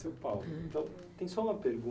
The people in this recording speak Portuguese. Seu, então, tem só uma pergunta.